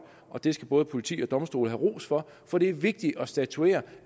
og det skal både politi og domstole have ros for for det er vigtigt at statuere